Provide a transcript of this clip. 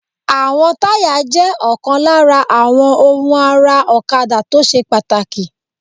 Àwọn táyà jẹ́ ọ̀kan lára àwọn ohun ara ọ̀kadà tó ṣe pàtàkì